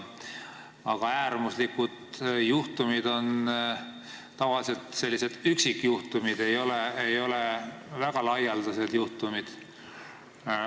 Ja äärmuslikud juhtumid on tavaliselt üksikjuhtumid, mitte väga laialdaselt esinevad juhtumid.